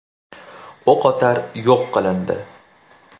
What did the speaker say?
O‘qotar yo‘q qilindi.